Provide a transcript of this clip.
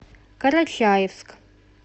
карачаевск